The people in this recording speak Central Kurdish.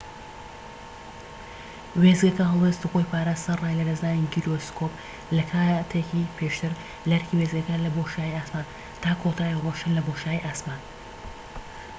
وێستگەکە هەڵوێستی خۆی پاراست، سەرەڕای لەدەستدانی گیرۆسکۆب لە کاتێکی پێشتر لەئەرکی وێستگەکە لە بۆشایی ئاسمان، تا کۆتایی ڕۆیشتن لە بۆشایی ئاسمان‎